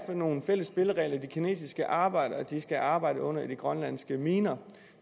for nogle fælles spilleregler de kinesiske arbejdere skal arbejde under i de grønlandske miner